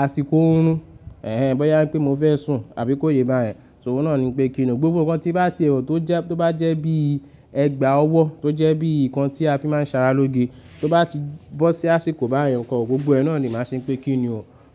àsìkò ooruń, ẹẹ́hn, bóyá pé mò fẹ́ sùn àbí kó yé bá yẹn, so òun náà ni pé kíni gbogbo ǹkan tí bá ti wọ̀ tó jẹ́, tó bá jẹ́ bí ẹgbàá ọwọ́, tó jẹ́ bí ǹkan tí a fi máa ń sara lóge, tó bá ti bọ́ sí àsìkò bá yẹn, ǹko gbogbo ẹ náà ni màá ṣe pé kíni,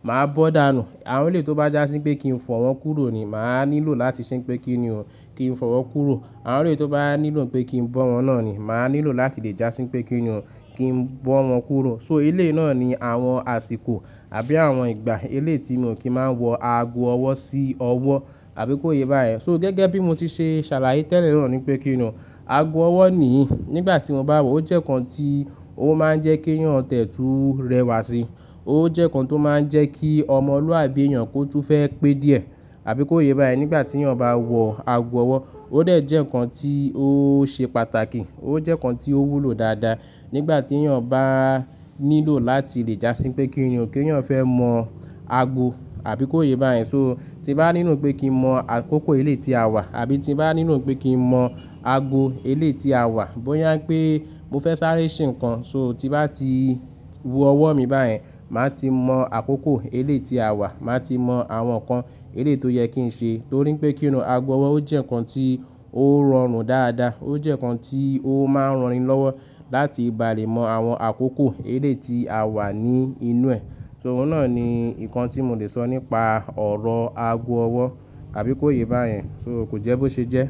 màá bọ́ dànù. Àwọn eléyi tó bá jásí pé kí n fọ̀ wọ́n kúrò ni màá nílò láti ṣe pé kíni kin fọ̀ wọ́n kúrò. Àwọn eléyi tó bá nílò pé kí n bọ́ wọ́n náà ni màá nílò láti lè jásí pé kíni kin bọ́ wọ́n kúrò. So elé náà ni àwọn àsìkò àbí àwọn ìgbà elé tí mí ò kí ń máa ń wọ aago ọwọ́ sí ọwọ́ àbí kó yé bá yẹn. So gẹ́gẹ́ bí mo ti ṣe ṣàlàyé tẹ́lẹ̀ náà ni pé kíni aago ọwọ́ ní nígbà tí mò bá wọ̀ ó jẹ́ ǹkan tí ó máa ń jẹ́ keyàn tiẹ́ tù rẹwà si. Ó jẹ́ ǹkan tó máa ń jẹ́ kí ọmọlúàbí èèyàn kó tún fẹ́ pé díẹ̀ àbí kó yé bá yẹn. Nígbà tí eyàn bá wọ aago ọwọ́, ó dẹ̀ jẹ́ ǹkan tí ó ṣe pàtàkì, ó jẹ́ ǹkan tí ó wúlò dáadáa. Nígbà tí eyàn bá nílò láti lè jásí pé kíni o keyan fẹ́ mọ àgo àbí kó yé bá yẹn. So tí bá nílò pé kí n mọ àkókò eléyi tí a wà àbí tí bá nílò pé kí n mọ aago eléyi tí a wà, bóyá pé mò fẹ́ sáré ṣe ǹkan, so tí bá ti wo ọwọ́ mi bá yẹn, màá ti mọ àkókò eléyi tí a wà, màá ti mọ àwọn ǹkan eléyi tó yẹ kí n ṣe. Torí pé kíni aago ọwọ́ ó jẹ́ ǹkan tí ó rọrùn dáadáa, ó jẹ́ ǹkan tí ó máa ń rani lọ́wọ́ láti ba lè mọ àwọn àkókò eléyi tí a wà ní inú ẹ̀. So òun náà ni ǹkan tí mò lè sọ nípa ọ̀rọ̀ aago ọwọ́ àbí kó yé bá yẹn, so kò jẹ́ bó ṣe jẹ́.